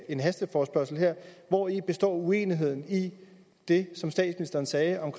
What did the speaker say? en hasteforespørgsel her hvori består uenigheden i det som statsministeren sagde om